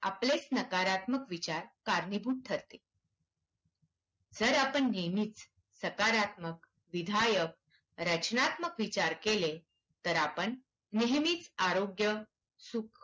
आपलेच नकारात्मक विचार कारणीभूत ठरते. जर आपण नेहमीच सकारात्मक, विधायक, रचनात्मक विचार केले तर आपण नेहमीच आरोग्य सुख